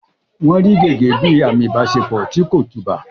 Wọ́n rí gẹ́gẹ́ bíi àmì ìbáṣepọ̀ tí kò tùbà.